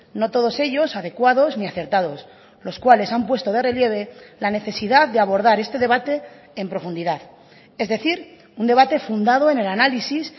no todos ellos adecuados ni acertados los cuales han puesto de relieve la necesidad de abordar este debate en profundidad es decir un debate fundado en el análisis